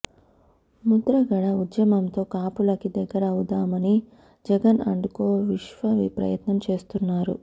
ముద్రగడ ఉద్యమంతో కాపులకి దగ్గరవుదామని జగన్ అండ్ కో విశ్వప్రయత్నం చేస్తున్నారు